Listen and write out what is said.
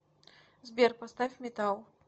сбер поставь металл